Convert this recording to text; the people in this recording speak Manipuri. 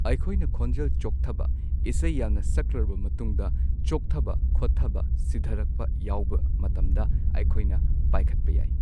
ꯑꯩꯈꯣꯏꯅ ꯈꯣꯟꯖꯦꯜ ꯆꯣꯛꯊꯕ ꯏꯁꯩ ꯌꯥꯝꯅ ꯁꯛꯂꯨꯔꯕ ꯃꯇꯨꯡꯗ ꯆꯣꯛꯊꯕ ꯈꯣꯠꯊꯕ ꯁꯤꯊꯔꯛꯄ ꯌꯥꯎꯕ ꯃꯇꯝꯗ ꯑꯩꯈꯣꯏꯅ ꯄꯥꯏꯈꯠꯄ ꯌꯥꯏ꯫